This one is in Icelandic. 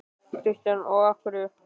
Kristján: Og af hverju?